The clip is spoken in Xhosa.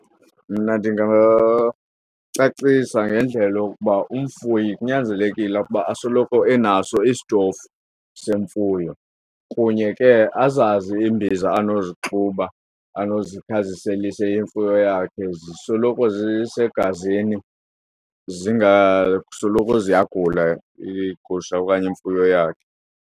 Mna ndingacacisa ngendlela yokuba umfuyi kunyanzelekile ukuba asoloko enaso isitofu semfuyo kunye ke azazi imbiza anozixuba anazothi aziselise imfuyo yakhe zisoloko zisegazini zingasoloko ziyagula igusha okanye imfuyo yakhe.